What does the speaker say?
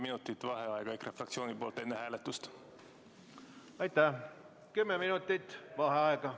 Sooviks võtta EKRE fraktsiooni nimel enne hääletust kümme minutit vaheaega.